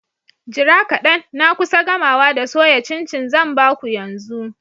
Jira kadan na kusa gamawa da soya cin-cin zan ba ku yanzu.